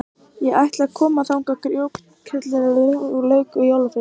Ég ætla að koma þangað grjótkerlingunni sem ég lauk við í jólafríinu.